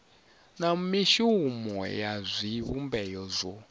na mishumo ya zwivhumbeo zwo